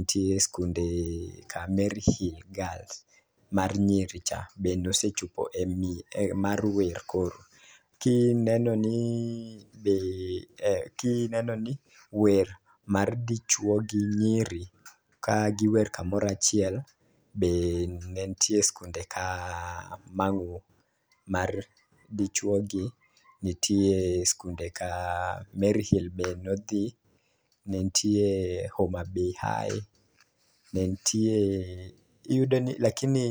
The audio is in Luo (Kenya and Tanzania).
ntie skunde ka mary hill girls, mar nyiri cha be nosechopo e mar wer koro. Kineno ni be kineno ni wer mar dichuo gi nyiri ka giwer kamora achiel be nentie skunde ka Mangu mar dichuo gi, ntie skunde ka mary hill be nodhi ne ntie homabay high, ne ntie iyudo ni lakini